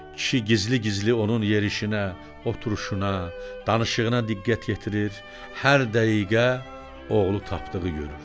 Kişi gizli-gizli onun yerişinə, oturuşuna, danışığına diqqət yetirir, hər dəqiqə oğlu tapdığı görürdü.